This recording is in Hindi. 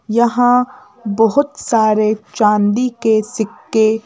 यहां बहुत सारे चांदी के सिक्के--